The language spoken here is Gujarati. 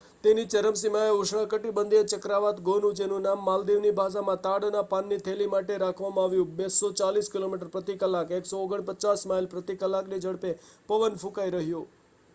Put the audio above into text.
તેની ચરમસીમાએ ઉષ્ણકટિબંધીય ચક્રવાત ગોનુ જેનું નામ માલદીવની ભાષામાં તાડના પાનની થેલી માટે રાખવામાં આવ્યું 240 કિલોમીટર પ્રતિ કલાક 149 માઇલ પ્રતિ કલાકની ઝડપે પવન ફૂંકાઈ રહ્યો